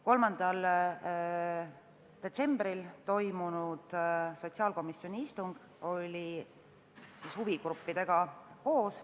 3. detsembril toimunud sotsiaalkomisjoni istungil olid ka huvigrupid.